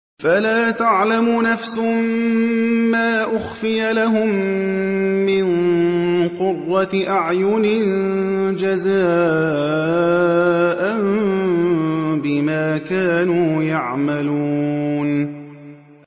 فَلَا تَعْلَمُ نَفْسٌ مَّا أُخْفِيَ لَهُم مِّن قُرَّةِ أَعْيُنٍ جَزَاءً بِمَا كَانُوا يَعْمَلُونَ